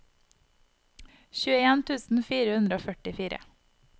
tjueen tusen fire hundre og førtifire